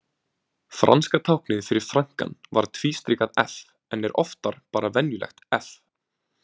Franska táknið fyrir frankann var tvístrikað F en oftar bara venjulegt F